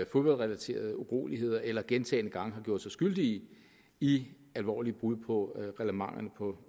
fodboldrelaterede uroligheder eller gentagne gange har gjort sig skyldige i alvorlige brud på reglementer på